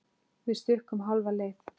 Við stukkum hálfa leið.